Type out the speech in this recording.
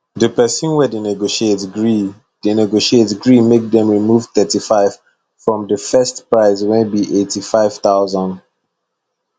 the person wey dey negotiate gree dey negotiate gree make dem remove 35 from the first price wey be 85000